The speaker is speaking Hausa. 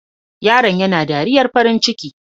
Yaron yana dariyar farin ciki.